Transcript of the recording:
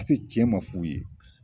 cɛn man f'u ye.